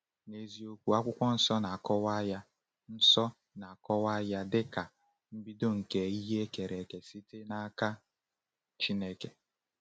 N’eziokwu, Akwụkwọ Nsọ na-akọwa ya Nsọ na-akọwa ya dịka “mbido nke ihe e kere eke site n’aka Chineke.”